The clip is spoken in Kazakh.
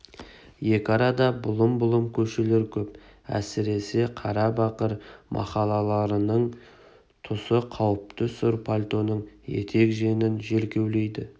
екі арада бұлым-бұлым көшелер көп әсіресе қарабақыр махаллаларының тұсы қауіпті сұр пальтоның етек-жеңін жел кеулейді